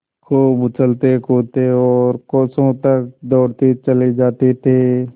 खूब उछलतेकूदते और कोसों तक दौड़ते चले जाते थे